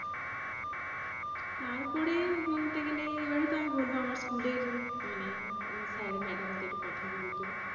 তারপরে বলতে গেলে এবারে তো আমি বলবো আমার স্কুলের মানে sir madam দের কথা বলবো।